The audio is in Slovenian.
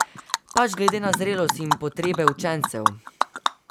Pač glede na zrelost in potrebe učencev.